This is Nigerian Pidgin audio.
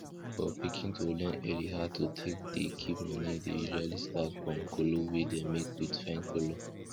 for pikin dem to learn early how to take dey keep money dey usually start from kolo wey dem make wit fine color